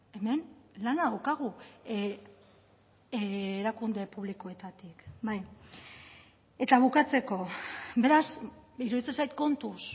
hemen lana daukagu erakunde publikoetatik eta bukatzeko beraz iruditzen zait kontuz